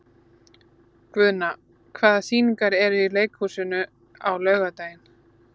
Guðna, hvaða sýningar eru í leikhúsinu á laugardaginn?